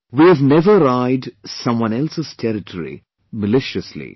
We have never eyed someone else's territory maliciously